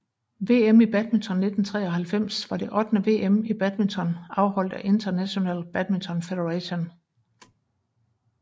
VM i badminton 1993 var det ottende VM i badminton afholdt af International Badminton Federation